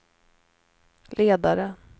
ledare